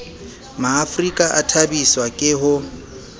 maafrika a thabiswa ke ho